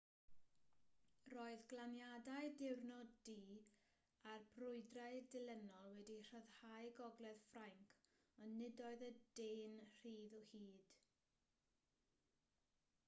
roedd glaniadau diwrnod-d a'r brwydrau dilynol wedi rhyddhau gogledd ffrainc ond nid oedd y de'n rhydd o hyd